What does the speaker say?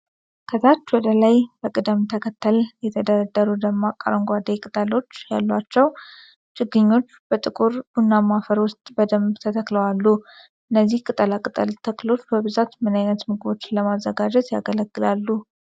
ከታች ወደ ላይ በቅደም ተከተል የተደረደሩ ደማቅ አረንጓዴ ቅጠሎች ያሏቸው ችግኞች በጥቁር ቡናማ አፈር ውስጥ በደንብ ተተክለው አሉ። እነዚህ ቅጠላ ቅጠል ተክሎች በብዛት ምን ዓይነት ምግቦችን ለማዘጋጀት ያገለግላሉ?